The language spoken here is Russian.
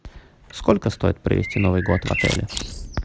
сколько стоит провести новый год в отеле